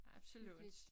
Absolut